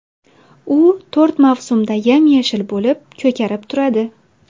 U to‘rt mavsumda yam-yashil bo‘lib ko‘karib turadi.